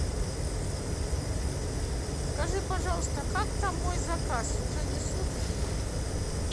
скажи пожалуйста как там мой заказ уже несут или нет